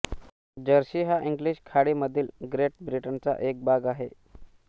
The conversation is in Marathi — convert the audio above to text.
जर्सी हा इंग्लिश खाडीमधील ग्रेट ब्रिटनचा एक भाग आहे